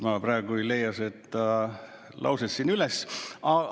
Ma praegu ei leia seda lauset üles.